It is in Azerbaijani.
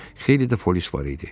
Xeyli də polis var idi.